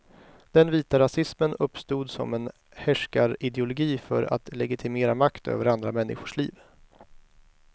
Den vita rasismen uppstod som en härskarideologi för att legitimera makt över andra människors liv.